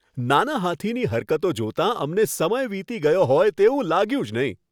નાના હાથીની હરકતો જોતાં અમને સમય વીતી ગયો હોય તેવું લાગ્યું જ નહીં.